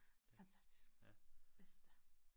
Fantastisk bedste